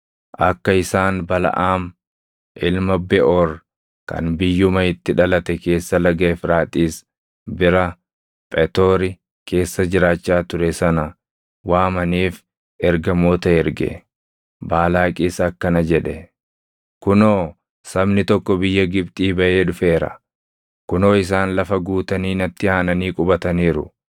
akka isaan Balaʼaam ilma Beʼoor kan biyyuma itti dhalate keessa laga Efraaxiis bira Phetoori keessa jiraachaa ture sana waamaniif ergamoota erge. Baalaaqis akkana jedhe: “Kunoo, sabni tokko biyya Gibxii baʼee dhufeera; kunoo isaan lafa guutanii natti aananii qubataniiru.